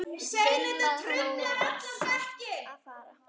Henni var sagt að fara.